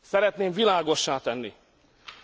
Szeretném világossá tenni,